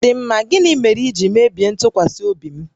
Chidịmma, gịnị mere i ji mebie ntụkwasị obi m?